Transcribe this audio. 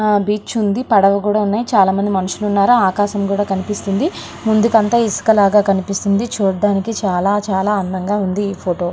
Beach ఉంది పడవ కూడా ఉంది. చాలామంది మనుషులు ఉన్నారు ఆకాశం కనిపిస్తుంది. ముందంతా ఇసుక లాగ కనిపిస్తుంది. చూడ్డానికి చాలా చాలా అందంగా ఉంది ఈ ఫోటో .